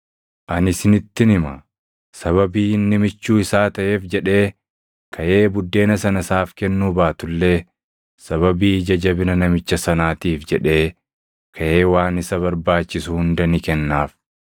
Ani isinittin hima; sababii inni michuu isaa taʼeef jedhee kaʼee buddeena sana isaaf kennuu baatu illee, sababii ija jabina namicha sanaatiif jedhee kaʼee waan isa barbaachisu hunda ni kennaaf.